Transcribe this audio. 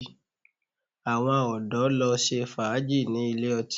Àwọn ọ̀dọ̀ lọ ṣe fàájì ní ilé ọtí